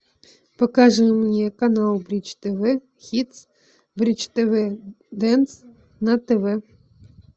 покажи мне канал бридж тв хитс бридж тв дэнс на тв